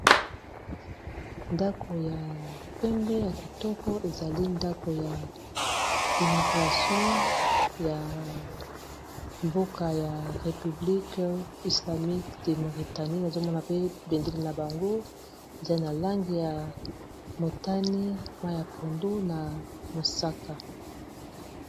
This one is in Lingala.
ndako ya pembe ya kitoko ezali ndako ya immigration ya mboka ya repiblikue islamique de mauretanie nazomona pe bendeli na bango ezali na lange ya motani mai ya pondo na mosaka